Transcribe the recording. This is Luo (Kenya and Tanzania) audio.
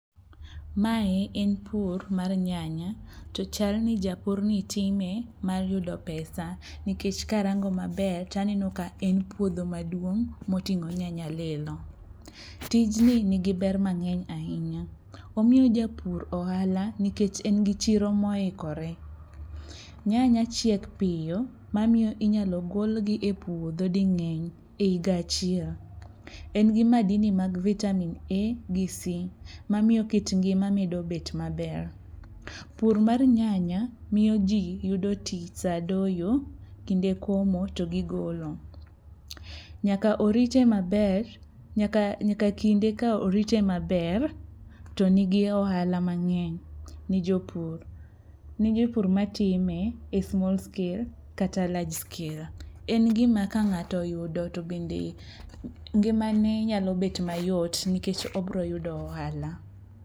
Mae en pur mar nyanya to chalni japurni time mar yudo pesa nikech karango maber taneno ka en puodho maduong' moting'o nyanya lilo. Tijni nigi ber mang'eny ahinya, omiyo japur ohala nikech en gi chiro moikore. Nyanya chiek piyo mamiyo inyalo golgi e puodho ding'eny e higa achiel. En gi madini mag vitamin A gi C mamiyo kit ngima medo bet maber. Pur mar nyanya miyo ji yudo tich sa doyo, kinde komo to gi golo. Nyaka kinde ka orite maber to nigi ohala mang'eny ne jopur, ne jopur matime e small scale kata large scale. En gima ka ng'ato oyudo to bende ngimane nyalo bet mayot nikech obroyudo ohala.